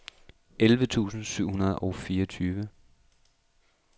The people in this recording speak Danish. elleve tusind syv hundrede og fireogtyve